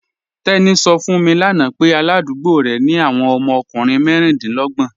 Teni sọ̀ fún mi lána pẹ̀ aládùgbò rẹ ni awọn ọmọ ọkùnrin mẹríndínlọ̀gbọn